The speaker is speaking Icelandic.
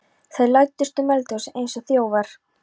Þeir læddust um eldhúsið eins og þjófar.